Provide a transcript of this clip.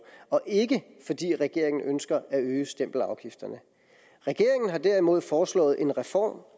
og ikke fordi regeringen ønsker at øge stempelafgifterne regeringen har derimod foreslået en reform